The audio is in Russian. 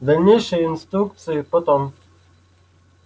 дальнейшие инструкции потом